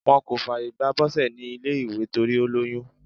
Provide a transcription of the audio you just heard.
Wọ́n kò fààyè gba Bose ní ilé ìgbé torí ó lóyún.